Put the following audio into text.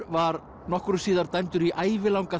var nokkru síðar dæmdur í ævilanga